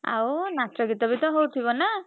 ଆଉ ନାଚ ଗୀତ ବି ତ ହଉଥିବ ନା?